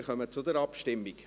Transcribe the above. Wir kommen zur Abstimmung.